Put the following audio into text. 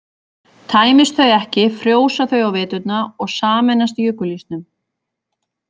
Tæmist þau ekki frjósa þau á veturna og sameinast jökulísnum.